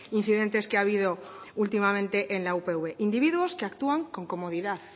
incidentes que ha habido últimamente en la upv individuos que actúan con comodidad